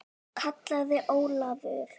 kallaði Ólafur.